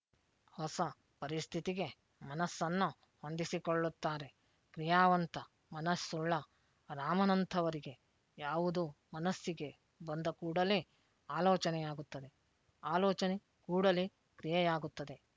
ಹೊಸ ಪರಿಸ್ಥಿತಿಗೆ ಮನಸ್ಸನ್ನು ಹೊಂದಿಸಿಕೊಳ್ಳುತ್ತಾರೆ ಕ್ರಿಯಾವಂತ ಮನುಸ್ಸುಳ್ಳ ರಾಮನಂಥವರಿಗೆ ಯಾವುದೂ ಮನಸ್ಸಿಗೆ ಬಂದ ಕೂಡಲೆ ಆಲೋಚನೆಯಾಗುತ್ತದೆ ಆಲೋಚನೆ ಕೂಡಲೆ ಕ್ರಿಯೆಯಾಗುತ್ತದೆ